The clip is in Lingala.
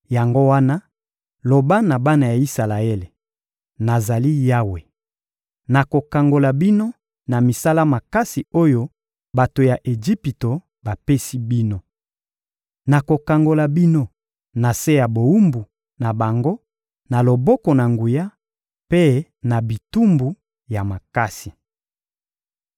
Yango wana, loba na bana ya Isalaele: «Nazali Yawe! Nakokangola bino na misala makasi oyo bato ya Ejipito bapesi bino. Nakokangola bino na se ya bowumbu na bango na loboko na nguya mpe na bitumbu ya makasi.